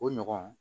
O ɲɔgɔn